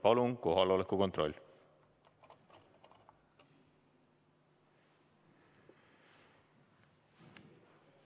Palun kohaloleku kontroll!